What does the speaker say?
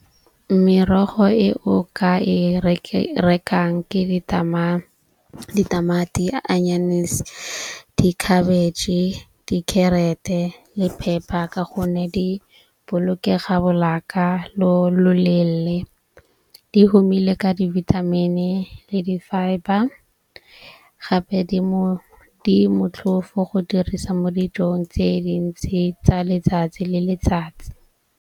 Merogo e o ka e rekang ke ditamati, anyanese, dikhabetšhe, dikherete le phepa. Ka gonne di bolokega lo loleele. Di humile ka divithamini le di-fibre gape di mo di motlhofo go dirisa mo dijong tse dintsi tsa letsatsi le letsatsi.